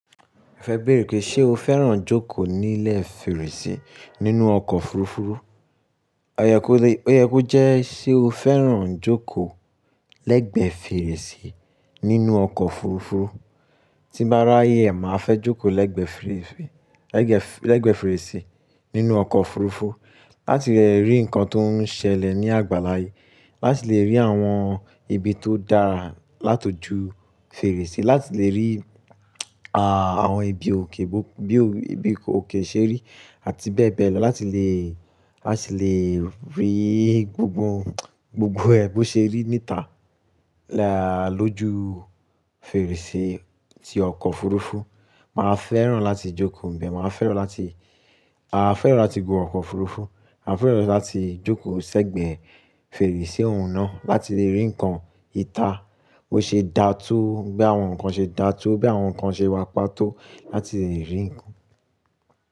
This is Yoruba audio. Fẹ beerè pé ṣé o fẹ́ràn jókòó nílẹ̀ fèrèsé nínú ọkọ̀ òfurufú? Ó yẹ kó jẹ́ ṣé o fẹ́ràn jókòó lẹ́gbẹ̀ẹ́ fèrèsé nínú ọkọ̀ òfurufú? Tí n baá ráayè, màá fẹ́ jókòó lẹ́gbẹ̀ẹ́ fèrèsé, lẹ́gbẹ̀ẹ́ fèrèsé nínú ọkọ̀ òfurufú láti lè rí ǹkan tó ń ṣẹlẹ̀ ní àgbàlá yìí, láti lè rí àwọn ibi tó dára lát'ojú fèrèsé, láti lè rí àwọn ibi òkè, bí ibi òkè ṣe rí àti bẹ́ẹ̀ bẹ́ẹ̀ lọ, láti lè, láti lè rí gbogbo, gbogbo ẹ̀ bo ṣe rí níta lójú fèrèsé tí ọkọ̀ òfurufú. Màá fẹ́ràn láti jókòó níbẹ̀, màá fẹ́ràn láti, à fẹ́ràn láti gun ọkọ̀ òfurufú, maà fẹ́ràn láti jókòó sẹ́gbẹ̀ẹ́ fèrèsé òun náà láti lè rí ǹkan ìta, bó ṣe dàa tó, bí àwọn ǹkan ṣe dà tó, bí àwọn ǹkan ṣe wàpá tó láti lè rí.